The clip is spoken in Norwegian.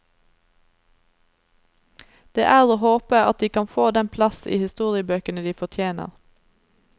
Det er å håpe at de kan få den plass i historiebøkene de fortjener.